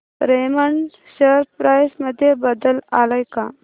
Raymond share price मध्ये बदल आलाय का